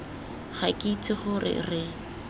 ga ke itse gore re